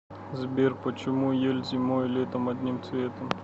сбер почему ель зимой и летом одним цветом